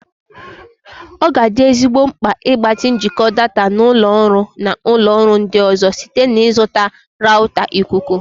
Ọ ga-adị ezigbo mkpa ịgbatị njikọ data na ụlọ ọrụ na ụlọ ọrụ ndị ọzọ site na ịzụta rawụta ikuku.